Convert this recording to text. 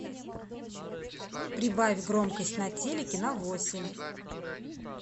прибавь громкость на телике на восемь